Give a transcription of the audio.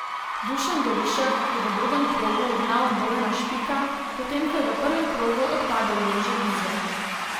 Dušan Gorišek je v drugem krogu ugnal Bojana Špika, potem ko je v prvem krogu odpadel Jože Bizjak.